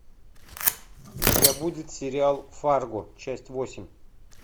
у тебя будет сериал фарго часть восемь